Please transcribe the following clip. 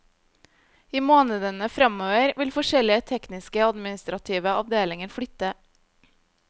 I månedene fremover vil forskjellige tekniske og administrative avdelinger flytte.